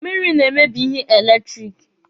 Mmiri na-emebi ihe eletiriki.